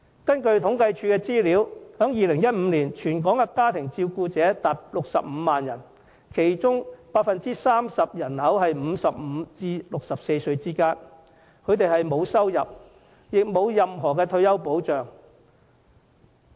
根據政府統計處的資料，在2015年，全港家庭照顧者達65萬人，其中 30% 介乎55歲至64歲之間；他們沒有收入，也沒有任何退休保障。